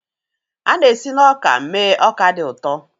A na-esi na ọka mee ọka dị ụtọ.